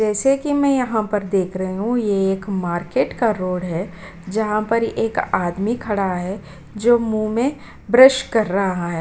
जैसे कि मैं यहाँ पर देख रही हूँ ये एक मार्केट का रोड है जहाँ पर एक आदमी खड़ा है जो मुँह में ब्रश कर रहा है।